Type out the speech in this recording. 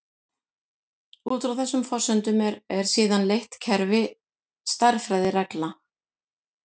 Út frá þessum forsendum er síðan leitt kerfi stærðfræðireglna.